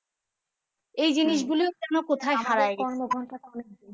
এই জিনিসগুলো যেন কোথায় হারায় গেছে